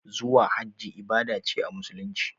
Zuwa hajji ibada ce a musulunci